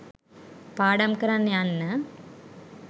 පාඩම් කරන්න යන්න